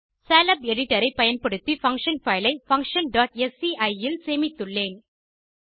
Scilab editor ஐ பயன்படுத்தி function file ஐ functionஸ்சி இல் சேமித்துள்ளேன்